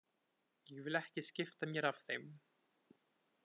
Ég vil ekki skipta mér af þeim.